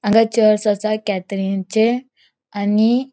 आंगा चर्च असा कथरीनचे आणि --